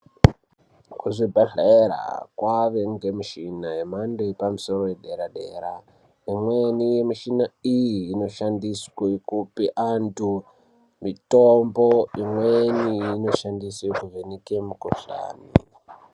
Kuzvibhedhlera kwave ngemichina yemhando yepamusoro yedera-dera. Imweni michina iyi inoshandiswe kupe antu mitombo, imweni inoshandiswe kuvheneke mikuhlani.